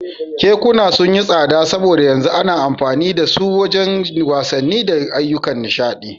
Kekuna sun yi tsada saboda yanzu ana amfani da su wajen wasanni da ayyukan nishaɗi.